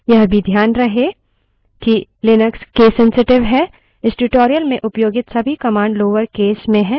इस tutorial में उपयोगित सभी commands lower case अन्यथा कथित हैं